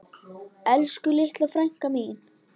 Elsku litla frænka mín.